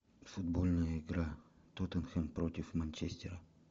футбольная игра тоттенхэм против манчестера